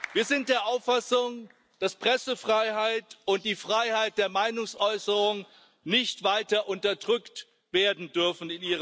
Wir sind der Auffassung, dass Pressefreiheit und die Freiheit der Meinungsäußerung in Ihrem Land nicht weiter unterdrückt werden dürfen.